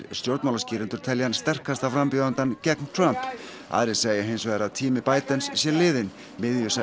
stjórnmálaskýrendur telja hann sterkasta frambjóðandann gegn Trump aðrir segja hins vegar að tími sé liðinn